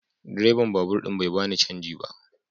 Direban babur din bai bani canji na ba.